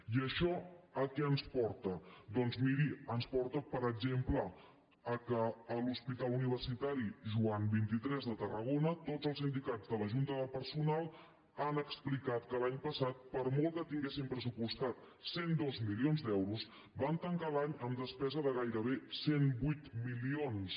i això a què ens porta doncs miri ens porta per exemple que a l’hospital universitari joan xxiii de tarragona tots els sindicats de la junta de personal han explicat que l’any passat per molt que tinguessin pressupostats cent i dos milions d’euros van tancar l’any amb despesa de gairebé cent i vuit milions